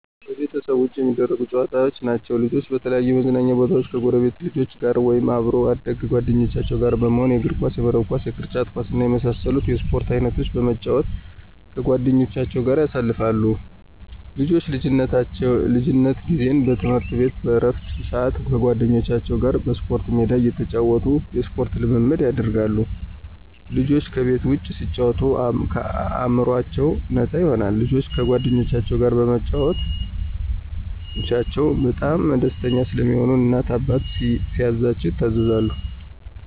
ከቤት ውጭ የሚደረጉ ጨዋታዎች ናቸዉ። ልጆች በተለያዩ የመዝናኛ ቦታወች ከጎረቤት ልጆች ጋር ወይም ከአብሮ አደግ ጓደኞቻቸው ጋር በመሆን የእግርኳስ፣ የመረብ ኳስ፣ የቅርጫት ኳስ እና የመሳሰሉትን የስፖርት አይነቶች በመጫወት ከጓደኞቻቸው ጋር ያሳልፋሉ። ልጆች የልጅነት ጊዜ በትምህርት ቤት በእረፍት ስአት ከጓደኞቻቸው ጋር በስፖርት ሜዳቸው እየተጫወቱ የስፖርት ልምምድ ያደርጋሉ። ልጆች ከቤት ውጭ ሲጫወቱ አእምሮአቸው ነፃ ይሆናል። ልጆች ከጓደኞቻቸው ጋር በመጫወታቸው በጣም ደስተኛ ስለሚሆኑ እናት ወይም አባታቸው ሲያዛቸው ይታዘዛሉ።